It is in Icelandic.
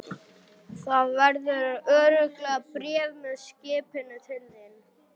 Það verður örugglega bréf með skipinu til þín.